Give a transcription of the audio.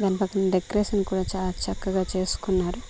దాని పక్కన డెక్రేషన్ కూడ చాలా చక్కగా చేసుకున్నారు